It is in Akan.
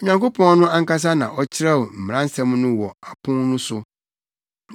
Onyankopɔn no ankasa na ɔkyerɛw mmaransɛm no wɔ apon no so.